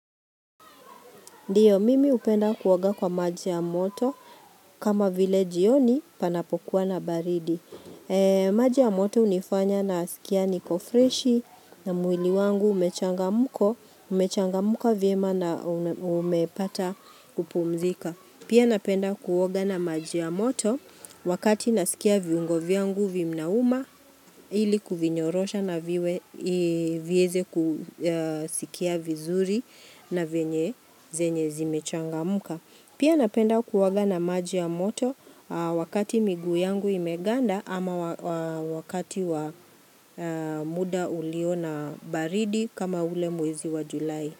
Ndiyo, mimi hupenda kuoga kwa maji ya moto kama vile jioni panapokuwa na baridi. Maji ya moto hunifanya na sikia niko freshi na mwili wangu umechangamko. Umechangamka vyema na umepata kupumzika. Pia napenda kuoga na maji ya moto wakati nasikia viungo vyangu vinauma ili kuvinyorosha navieze kusikia vizuri na venye zenye zimechangamka. Pia napenda kuoga na maji ya moto wakati miguu yangu imeganda ama wakati wa muda uliona baridi kama ule mwezi wa julai.